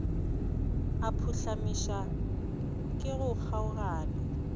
a phuhlamišwa ke go kgaogana